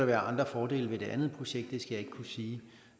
være andre fordele ved det andet projekt det skal jeg ikke kunne sige